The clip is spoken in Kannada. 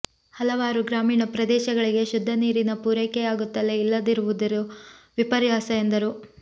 ಹಲವಾರು ಗ್ರಾಮೀಣ ಪ್ರದೇಶಗಳಿಗೆ ಶುದ್ದ ನೀರಿನ ಪೂರೈಕೆಯಾಗುತ್ತಲೇ ಇಲ್ಲದಿರುವುದು ವಿಪರ್ಯಾಸ ಎಂದರು